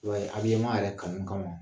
I b'a ye yɛrɛ kanu ka ma.